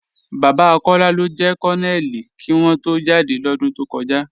Baba Kọla ló jẹ̀ Kọnónélì kí wọ̀n tó jádẹ́ lódún tó kọja.